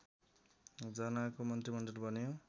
जनाको मन्त्रीमण्डल बन्यो